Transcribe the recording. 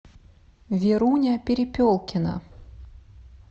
веруня перепелкина